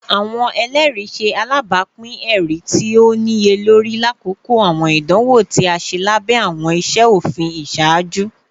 Awọn ẹlẹri ṣe alabapin ẹri ti o niyelori lakoko awọn idanwo ti a ṣe labẹ awọn iṣe ofin iṣaaju